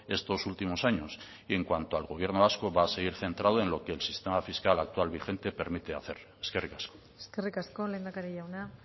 estos últimos años en cuando al gobierno vasco va a seguir centrado en lo que el sistema fiscal actual vigente permite hacer eskerrik asko eskerrik asko lehendakari jauna